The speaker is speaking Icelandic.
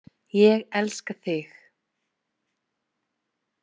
Ég elska þig!